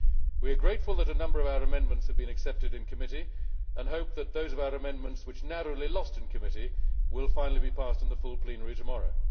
We are grateful that a number of our amendments have been accepted in committee and hope that those of our amendments which narrowly lost in committee will finally be passed in the full plenary tomorrow.